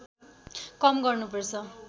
कम गर्नुपर्छ